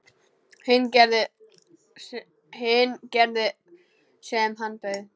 Hinn gerði sem hann bauð.